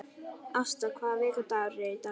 Ásta, hvaða vikudagur er í dag?